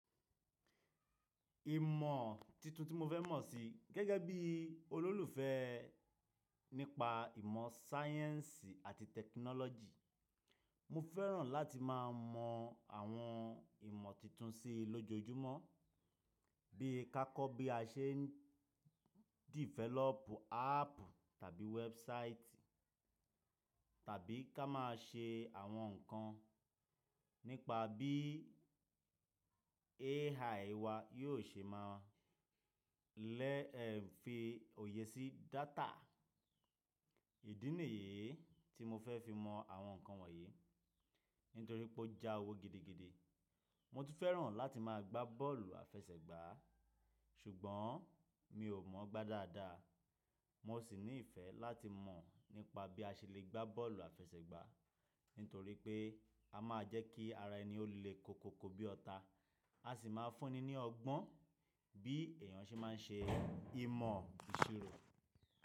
Ìmọ̀ titun tí mo fẹ́ mọ̀ si gẹ́gẹ́ bí olólùfẹ́ nípa ìmọ̀ sáyẹ́ǹsì àti tẹkinọ́lọ́jì, mo fẹ́ràn láti má a mọ àwọn ìmọ̀ titun sí lójoojúmọ́, bí ka kọ bi a se ń develop app àbí website tàbí ká má a ṣe àwọn nǹkan nípa bí AI wa yóò ṣe má a lẹ́ fi òye sí data. Ìdí nìyii tí mo fẹ́ fi mọ àwọn nǹkan wọ̀nyí nítorí pé ó ja owó gidigidi. Mo tún fẹ́ràn láti má a gbá bọ́ọ̀lù àfẹsẹ̀gbá à, ṣùgbọ́n mi ò mọ̀ gbá dáadáa. Mo sì ní ìfẹ́ láti mọ̀ nípa bí a ṣe le gbá bọ́ọ̀lù àfẹsẹ̀gbá nítorí pé a má a jẹ́ kí ara ẹni ó le koko ko bí ọta. A sì má a fúnni ní ọgbọ́n bí èèyàn ṣe má a ń ṣe ìmọ̀ ìṣirò.